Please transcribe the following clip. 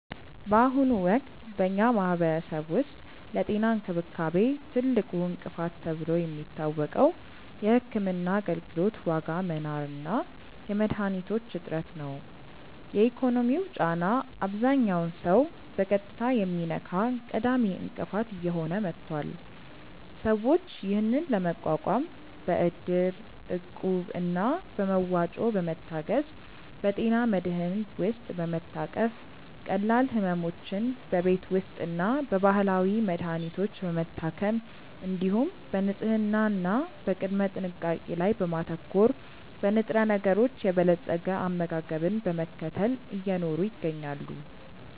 በአሁኑ ወቅት በኛ ማህበረሰብ ውስጥ ለጤና እንክብካቤ ትልቁ እንቅፋት ተብሎ የሚታወቀው የሕክምና አገልግሎት ዋጋ መናር እና የመድኃኒቶች እጥረት ነው። የኢኮኖሚው ጫና አብዛኛውን ሰው በቀጥታ የሚነካ ቀዳሚ እንቅፋት እየሆነ መጥቷል። ሰዎች ይህንን ለመቋቋም በእድር፣ እቁብ እና በመዋጮ በመታገዝ፣ በጤና መድህን ውስጥ በመታቀፍ፣ ቀላል ሕመሞችን በቤት ውስጥና በባህላዊ መድሀኒቶች በመታከም፣ እንዲሁም በንጽህና እና በቅድመ ጥንቃቄ ላይ በማተኮር፣ በንጥረነገሮች የበለፀገ አመጋገብን በመከተል እየኖሩ ይገኛሉ።